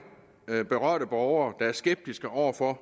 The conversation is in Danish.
af de berørte borgere er skeptiske over for